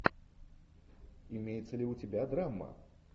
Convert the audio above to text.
имеется ли у тебя драма